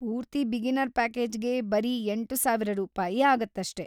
ಪೂರ್ತಿ ಬಿಗಿನರ್‌ ಪ್ಯಾಕೆಜಿಗೆ ಬರೀ ಎಂಟುಸಾವಿರ ರೂಪಾಯಿ ಆಗತ್ತಷ್ಟೇ.